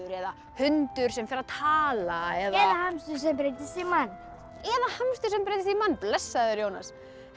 eða hundur sem fer að tala eða hamstur sem breyttist í mann eða hamstur sem breyttist í mann blessaður Jónas